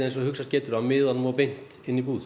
og hugsast getur frá miðunum og beint inn í búð